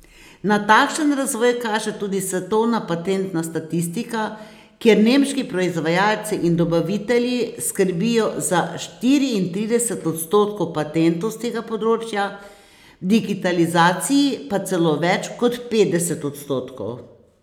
Na takšen razvoj kaže tudi svetovna patentna statistika, kjer nemški proizvajalci in dobavitelji skrbijo za štiriintrideset odstotkov patentov s tega področja, v digitalizaciji pa celo več kot petdeset odstotkov.